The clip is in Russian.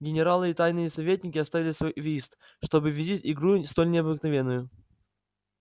генералы и тайные советники оставили свой вист чтоб видеть игру столь необыкновенную